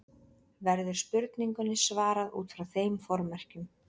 Verður spurningunni svarað út frá þeim formerkjum.